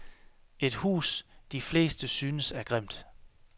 Et hus, de fleste synes er grimt.